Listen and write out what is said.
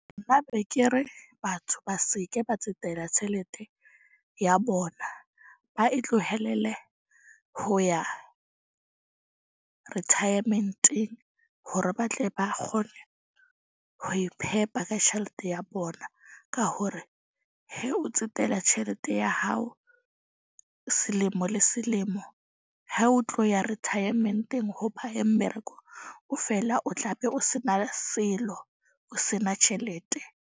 Nna be ke re batho ba seke ba tsetela tjhelete ya bona, ba itlohelele ho ya retirement-eng. Hore ba tle ba kgone ho iphepa ka tjhelete ya bona. Ka hore he o tsetela tjhelete ya hao selemo le selemo. Ha o tlo ya retirement-eng mmereko. O feela o tla be o se na selo, o se na tjhelete.